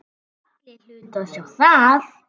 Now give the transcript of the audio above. Allir hlutu að sjá það.